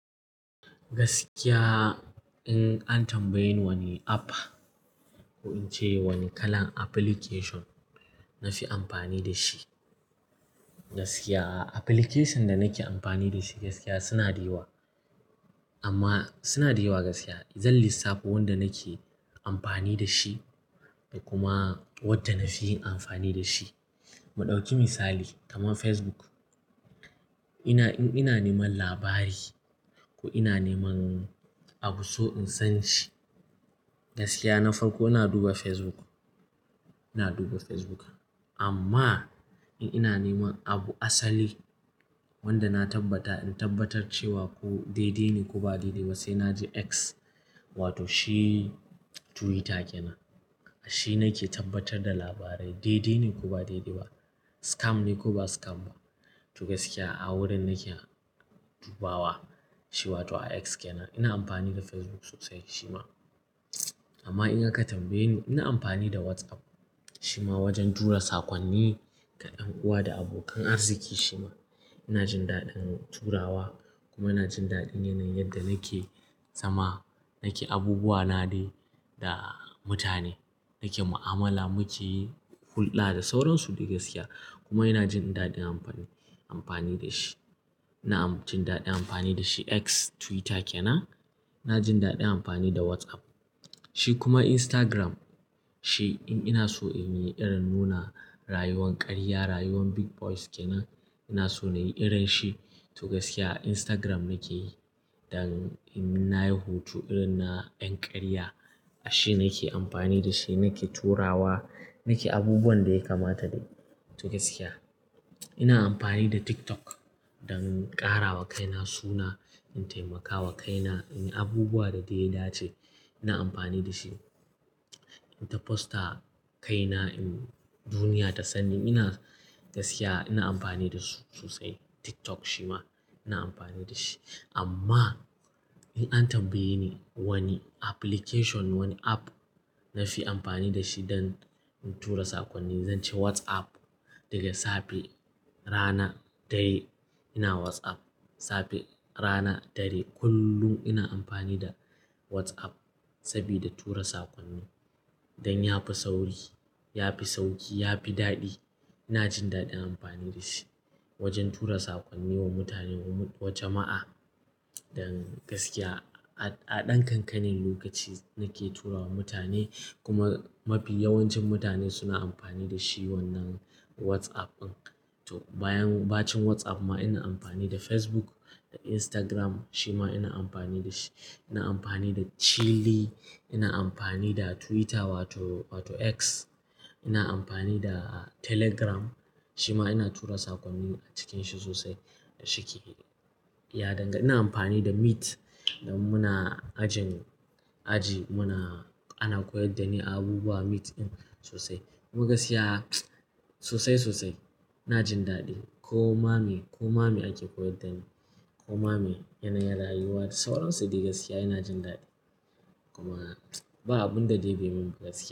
Gaskiya in an tambaye ni wani app ko in ce wani kalan application na fi amfani da shi, gaskiya application da nake amfani da shi gaskiya suna da yawa amma suna da yawa gaskiya. In zan lissafo wanda nake amfani da shi da kuma wadda na fi amfani da shi. Mu ɗauki misali kamar Facebook, ina in ina neman labari ko ina neman abu so in san shi gaskiya na farko ina duba Facebook. Ina duba Facebook amma in ina neman abu asali wanda na tabbata in tabbatar cewa ko dai-dai ne ko ba dai-dai ba sai na je X wato shi Twitter kenan. Shi nake tabbatar da labarai dai-dai ne ko ba dai-dai ba, scam ne ko ba scam ba. To gaskiya a wurin nake dubawa shi wato a X kenan. Ina amfani da Facebook sosai shima amma in aka tambaye ni ina amfani da WhatsApp shima wajen tura sakonni ga ’yan uwa da abokan arziki shima ina jin daɗin turawa kuma ina jin daɗin yanayin yadda nake zama nake abubuwa na dai da mutane nake mu'amala muke yi hulɗa da sauransu dai gaskiya. Kuma ina jin daɗin amfani, amfani da shi. Na jin daɗin amfani da shi X Twitter kenan. Na jin daɗin amfani da WhatsApp. Shi kuma Instagram shi in ina so in yi irin nuna rayuwar karya, rayuwar big boys kenan ina so na yi irin shi to gaskiya Instagram nake yi. Dan in nayi hoto irin na ‘yan karya a shi nake amfani da shi, nake turawa nake abubuwan da ya kamata dai. To gaskiya ina amfani da TikTok don ƙara wa kaina suna, in taimakawa kaina in abubuwa da dai ya dace ina amfani da shi. In ta fosta kaina in duniya ta sani ina gaskiya ina amfani da su sosai TikTok shima ina amfani da shi. Amma! In an tambaye ni wani application wani app na fi amfani da shi don in tura sakonni zan ce WhatsApp. Daga safe, rana, dare ina WhatsApp. Safe, rana, dare kullum ina amfani da WhatsApp sabida tura sakonni don ya fi sauri, ya fi sauƙi, ya fi daɗi. Ina jin daɗin amfani da shi wajen tura sakonni wa mutane wa jama'a. Don gaskiya a, a ɗan ƙanƙanin lokaci nake turawa mutane kuma mafi yawancin mutane suna amfani da shi wannan WhatsApp ɗin. To bayan, bacin WhatsApp ma ina amfani da Facebook da Instagram shima ina amfani da shi. Ina amfani da Chilly, ina amfani da Twitter wato, wato X. Ina amfani da Telegram shima ina tura sakonnin a cikin shi sosai shike ya dangana. Ina amfani da Meet don muna ajin aji muna ana koyar da ni abubuwa Meet in sosai. Kuma gaskiya sosai, sosai ina jin daɗi. Koma mai, koma mai ake koyar dani koma mai yanayin rayuwa da sauransu dai gaskiya ina jin daɗi. Kuma ba abun da dai bai min gaskiya.